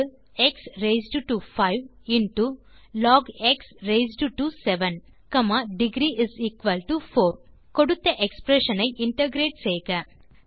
X raised to 5 into log x raised to 7 degree4 கொடுத்த expression ஐ integrate செய்க